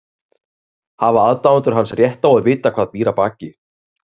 Hafa aðdáendur hans rétt á að vita hvað býr að baki?